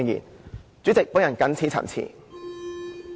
代理主席，我謹此陳辭。